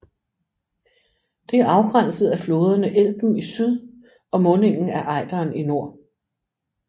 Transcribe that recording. Det er afgrænset af floderne Elben i syd og mundingen af Eideren i nord